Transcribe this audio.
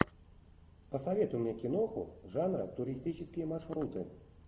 посоветуй мне киноху жанра туристические маршруты